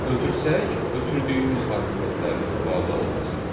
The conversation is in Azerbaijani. Ötürsək, ötürdüyümüz arqumentlər istifadə olunacaq.